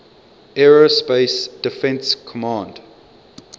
aerospace defense command